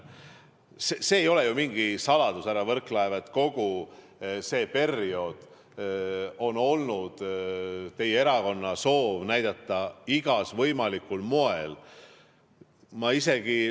See ei ole ju mingi saladus, härra Võrklaev, et kogu sel perioodil on olnud teie erakonna soov näidata igal võimalikul moel ...